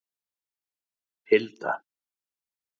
Hilda